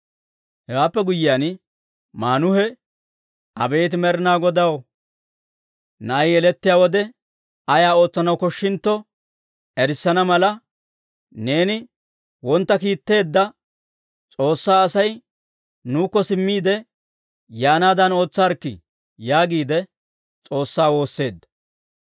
Hewaappe guyyiyaan Maanuhe, «Abeet Med'inaa Godaw, na'ay yelettiyaa wode ayaa ootsanaw koshshintto erissana mala, neeni kasenna kiitteedda S'oossaa Asay nuukko simmiide yaanaadan ootsaarikkii» yaagiide S'oossaa woosseedda.